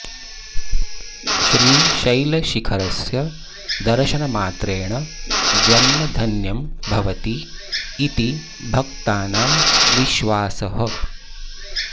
श्रीशैलशिखरस्य दर्शनमात्रेण जन्म धन्यं भवति इति भक्तानां विश्वासः